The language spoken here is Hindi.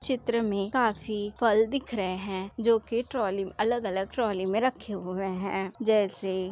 चित्र में काफी फल दिख रहे है जोकि ट्रॉली अलग-अलग ट्रॉली में रखे हुए है जैसे --